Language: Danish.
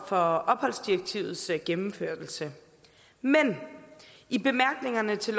for opholdsdirektivets gennemførelse men i bemærkningerne til